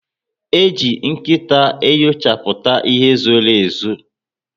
Eji nkịta enyochaputa ihe zoro ezo